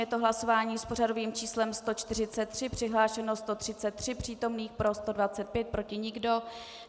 Je to hlasování s pořadovým číslem 143, přihlášeno 133 přítomných, pro 125, proti nikdo.